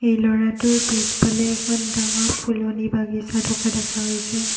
এই ল'ৰাটোৰ পিছফালে এখন ডাঙৰ ফুলনি বাগিছা থকা দেখা গৈছে।